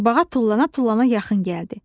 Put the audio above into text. Qurbağa tullana-tullana yaxın gəldi.